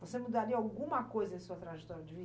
Você mudaria alguma coisa em sua trajetória de